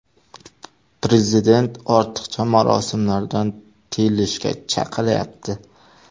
Prezident ortiqcha marosimlardan tiyilishga chaqiryapti.